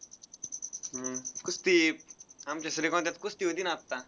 हम्म कुस्ती. आमच्या कुस्ती होती ना आत्ता.